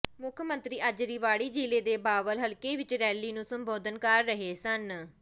ਮੁੱਖ ਮੰਤਰੀ ਅੱਜ ਰਿਵਾੜੀ ਜ਼ਿਲ੍ਹੇ ਦੇ ਬਾਵਲ ਹਲਕੇ ਵਿੱਚ ਰੈਲੀ ਨੂੰ ਸੰਬੋਧਨ ਕਰ ਰਹੇ ਸਨ